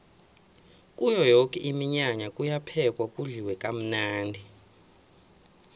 kuyo yoke iminyanya kuyaphekwa kudliwe kamnandi